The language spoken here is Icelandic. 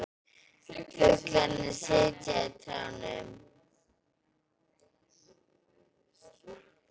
Fuglarnir sitja í trjánum.